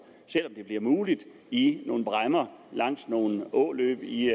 selv om det bliver muligt i nogle bræmmer langs nogle åløb i